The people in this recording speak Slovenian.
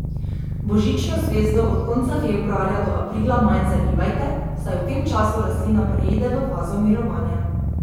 Božično zvezdo od konca februarja do aprila manj zalivajte, saj v tem času rastlina preide v fazo mirovanja.